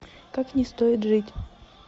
как не стоит жить